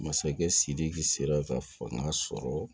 Masakɛ sidiki sera ka fanga sɔrɔ